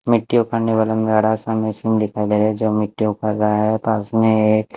मिट्टी उखाड़ने वाला बड़ा सा मशीन दिखाई दे रहा है जो मिट्टी उखाड़ रहा है पास में एक --